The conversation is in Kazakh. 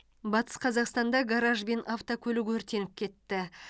батыс қазақстанда гараж бен автокөлік өртеніп кетті